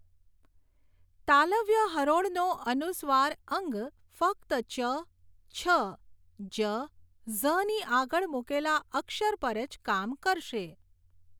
તાલવ્ય હરોળનો અનુસ્વાર ઞ્ ફક્ત ચ છ જ ઝની આગળ મૂકેલા અક્ષર પર જ કામ કરશે